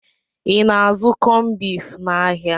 I na-azụ kọmbif n'ahia?